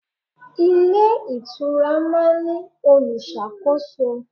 Ilé ìtura máa ń ní olùṣàkóso.